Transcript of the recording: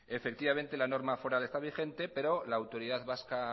efectivamente la norma foral está vigente pero la autoridad vasca